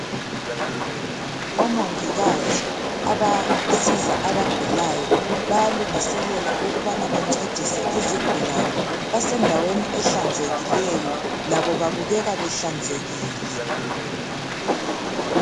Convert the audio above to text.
Omongikazi abasiza abagulayo bayalungiselela ukubana bancedise izigulane . Basendaweni ehlanzekileyo labo babukeka behlanzekile .